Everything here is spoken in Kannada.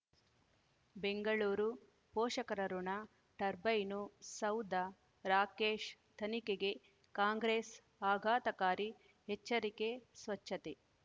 ಬೆಂಗಳೂರು ಪೋಷಕರಋಣ ಟರ್ಬೈನು ಸೌಧ ರಾಕೇಶ್ ತನಿಖೆಗೆ ಕಾಂಗ್ರೆಸ್ ಆಘಾತಕಾರಿ ಎಚ್ಚರಿಕೆ ಸ್ವಚ್ಛತೆ